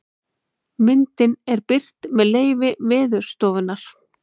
myndin er birt með leyfi veðurstofunnar